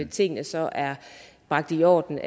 tingene så er bragt i orden